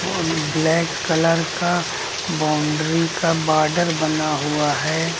और black colour का boundary का बॉर्डर बना हुआ है।